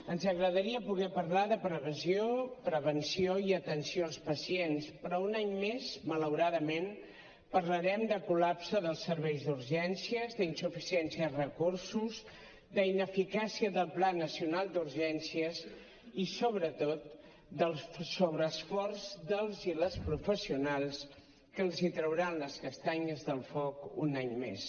ens agradaria poder parlar de previsió prevenció i atenció als pacients però un any més malauradament parlarem de col·lapse dels serveis d’urgències d’insuficiència de recursos d’ineficàcia del pla nacional d’urgències i sobretot del sobreesforç dels i les professionals que els trauran les castanyes del foc un any més